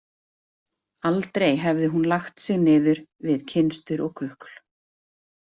Aldrei hefði hún lagt sig niður við kynstur og kukl.